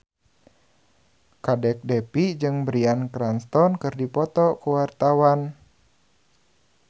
Kadek Devi jeung Bryan Cranston keur dipoto ku wartawan